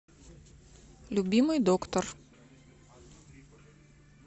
любимый доктор